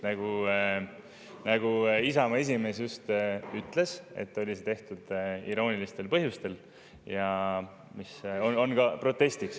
Nagu Isamaa esimees just ütles, oli see tehtud iroonilistel põhjustel ja on mõeldud protestina.